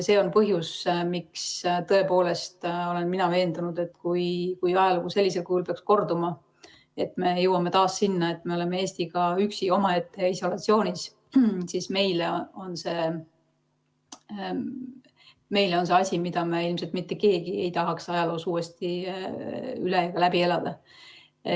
See on põhjus, miks olen mina tõepoolest veendunud, et kui ajalugu sellisel kujul peaks korduma ja me jõuame taas sinna, et me oleme Eestiga üksi isolatsioonis, siis see on asi, mida me ilmselt mitte keegi ei tahaks uuesti läbi elada.